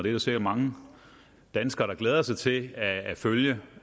er sikkert mange danskere der glæder sig til at følge